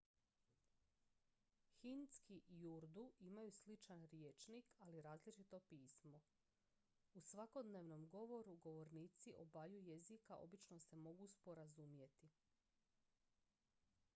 hindski i urdu imaju sličan rječnik ali različito pismo u svakodnevnom govoru govornici obaju jezika obično se mogu sporazumjeti